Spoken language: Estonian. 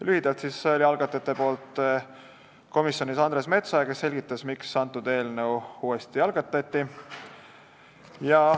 Algatajate esindajana oli komisjonis Andres Metsoja, kes selgitas, miks eelnõu uuesti algatati.